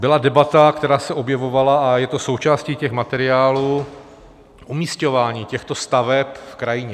Byla debata, která se objevovala, a je to součástí těch materiálů: umísťování těchto staveb v krajině.